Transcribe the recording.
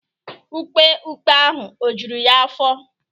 Ukpe ikpe ahụ ọ̀ juru ya afọ?